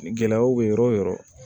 Gɛlɛyaw bɛ yɔrɔ o yɔrɔ